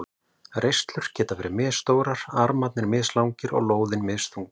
Reislur geta verið misstórar, armarnir mislangir og lóðin misþung.